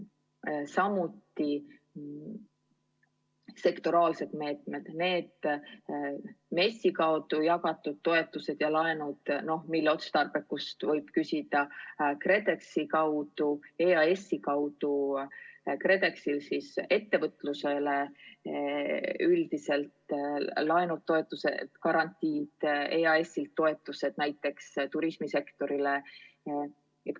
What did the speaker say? Või võtame sektoraalsed meetmed, need MES-i kaudu jagatud toetused ja laenud, mille otstarbekus võib olla küsitav, KredExi kaudu ettevõtlusele üldiselt antud laenud, toetused ja garantiid ning EAS-i kaudu antud toetused näiteks turismisektorile.